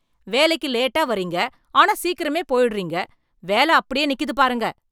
வேலைக்கு லேட்டா வர்றீங்க, ஆனா சீக்கிரமா போயிடுறீங்க, வேலை அப்படியே நிக்கிது பாருங்க.